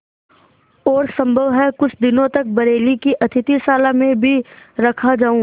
और सम्भव है कुछ दिनों तक बरेली की अतिथिशाला में भी रखा जाऊँ